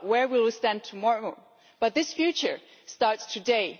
about where we will stand tomorrow, but this future starts today.